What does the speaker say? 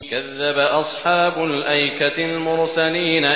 كَذَّبَ أَصْحَابُ الْأَيْكَةِ الْمُرْسَلِينَ